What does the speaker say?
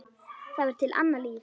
Það var til annað líf.